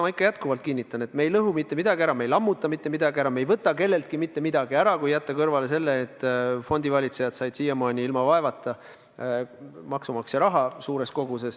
Ma jätkuvalt kinnitan, et me ei lõhu mitte midagi ära, me ei lammuta mitte midagi ära, me ei võta kelleltki mitte midagi ära, kui jätta kõrvale see fakt, et fondivalitsejad said siiamaani ilma vaevata suures koguses maksumaksja raha.